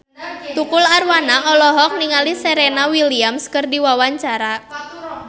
Tukul Arwana olohok ningali Serena Williams keur diwawancara